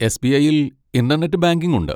എസ്.ബി.ഐയ്യിൽ internet banking ഉണ്ട്.